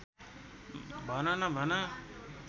भन न भन